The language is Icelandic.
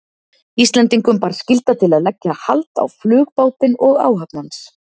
Íslendingum bar skylda til að leggja hald á flugbátinn og áhöfn hans.